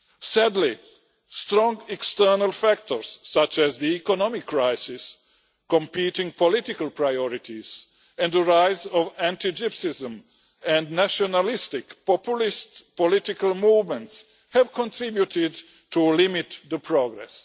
Sadly, strong external factors such as the economic crisis, competing political priorities and the rise of anti Gypsyism and nationalistic populist political movements have contributed to limit the progress.